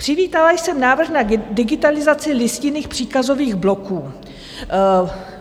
Přivítala jsem návrh na digitalizaci listinných příkazových bloků.